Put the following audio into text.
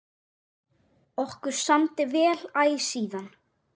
Okkur samdi vel æ síðan.